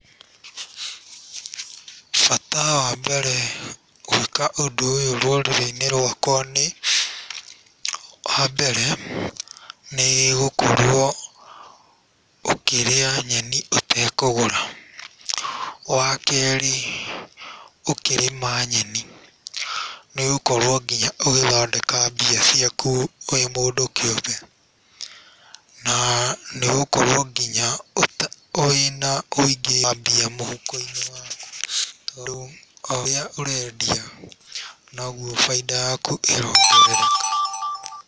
Bata wa mbere gwĩka ũndũ ũyũ rũrĩrĩ-inĩ rwakwa nĩ, wa mbere, nĩ gũkorwo ũkĩrĩa nyeni ũtekũgũra, wa kerĩ, ũkĩrĩma nyeni nĩ ũgũkorwo nginya ũgĩthondeka mbia ciaku wĩ mũndũ kĩũmbe na nĩ ũgũkorwo nginya wĩna ũingĩ wa mbia mũhuko-inĩ waku tondũ o ũrĩa ũrendia, noguo bainda yaku ĩrongerereka.